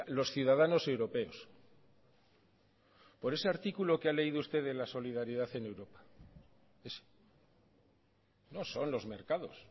los ciudadanos europeos por ese artículo que ha leído usted de la solidaridad en europa ese no son los mercados